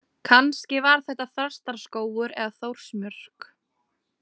Kannski var þetta Þrastarskógur eða Þórsmörk.